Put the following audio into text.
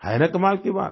है न कमाल की बात